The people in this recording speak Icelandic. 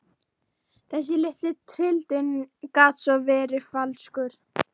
Þessi litli rindill gat verið svo falskur.